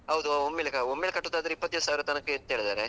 ಹೌದು, ಒಮ್ಮೆಲ್ಲೆ ಒಮ್ಮೆಲೆ ಕಟ್ಟುದಾದ್ರೆ ಇಪ್ಪತ್ತೈದು ಸಾವಿರದ್ ತನ್ಕ ಇರುತ್ತೆ ಹೇಳಿದ್ದಾರೆ.